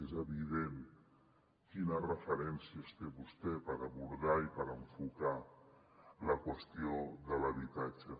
és evident quines referències té vostè per abordar i per enfocar la qüestió de l’habitatge